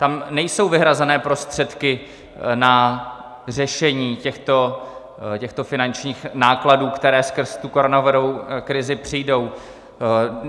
Tam nejsou vyhrazené prostředky na řešení těchto finančních nákladů, které skrz tu koronavirovou krizi přijdou.